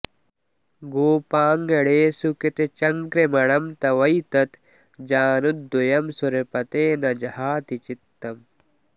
गोपाङ्गणेषु कृतचङ्क्रमणं तवैतत् जानुद्वयं सुरपते न जहाति चित्तम्